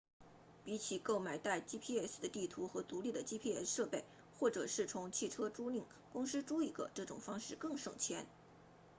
比起够买带 gps 的地图或独立的 gps 设备或者是从汽车租赁公司租一个这种方式更省钱